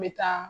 N bɛ taa